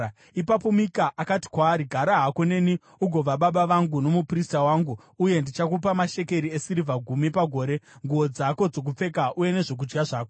Ipapo Mika akati kwaari, “Gara hako neni ugova baba vangu nomuprista wangu, uye ndichakupa mashekeri esirivha gumi pagore, nguo dzako dzokupfeka uye nezvokudya zvako.”